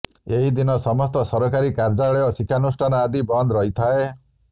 ଏହିଦିନ ସମସ୍ତ ସକରକାରୀ କାର୍ଯ୍ୟାଳୟ ଶିକ୍ଷାନୁଷ୍ଠାନ ଆଦି ବନ୍ଦ ରହିଥାଏ